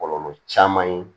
Kɔlɔlɔ caman ye